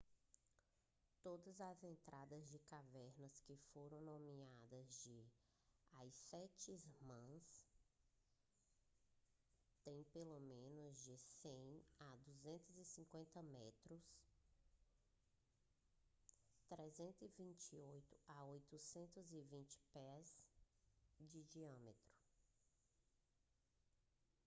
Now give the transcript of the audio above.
todas as entradas de cavernas que foram nomeadas de as sete irmãs têm pelo menos de 100 a 250 metros 328 a 820 pés de diâmetro